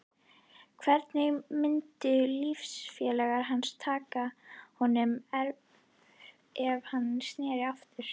Hvernig myndu liðsfélagar hans taka honum ef hann sneri aftur?